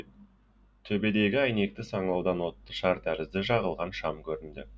төбедегі әйнекті саңылаудан отты шар тәрізді жағылған шам көрінді